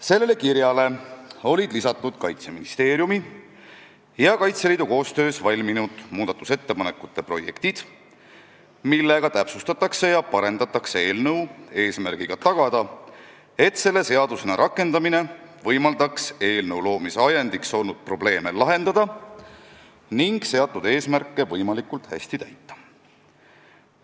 Sellele kirjale olid lisatud Kaitseministeeriumi ja Kaitseliidu koostöös valminud muudatusettepanekute projektid, millega täpsustatakse ja parendatakse eelnõu eesmärgiga tagada, et selle seadusena rakendamine võimaldaks eelnõu loomise ajendiks olnud probleeme lahendada ning seatud eesmärke võimalikult hästi täita.